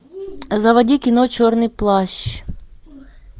заводи кино черный плащ